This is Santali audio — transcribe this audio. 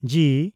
ᱡᱤ